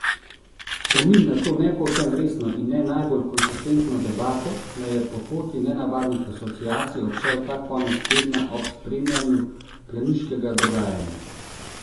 Spomin na to ne povsem resno in ne najbolj konsistentno debato me je po poti nenavadnih asociacij obšel ta konec tedna ob spremljanju planiškega dogajanja.